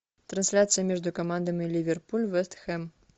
трансляция между командами ливерпуль вест хэм